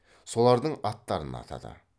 солардың аттарын атады